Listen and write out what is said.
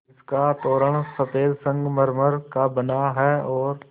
जिसका तोरण सफ़ेद संगमरमर का बना है और